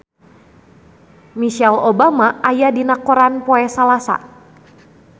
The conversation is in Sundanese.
Michelle Obama aya dina koran poe Salasa